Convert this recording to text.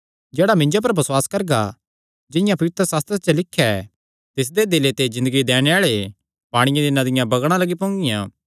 जेह्ड़ा मिन्जो पर बसुआस करगा जिंआं पवित्रशास्त्र च लिख्या ऐ तिसदे दिले ते ज़िन्दगी दैणे आल़े पांणिये दियां नदियां बगणा लग्गी पोंगियां